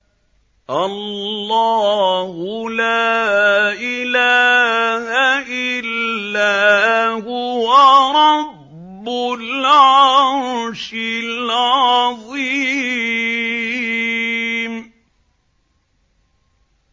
اللَّهُ لَا إِلَٰهَ إِلَّا هُوَ رَبُّ الْعَرْشِ الْعَظِيمِ ۩